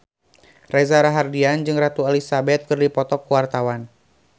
Reza Rahardian jeung Ratu Elizabeth keur dipoto ku wartawan